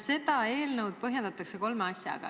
Seda eelnõu põhjendatakse kolme asjaga.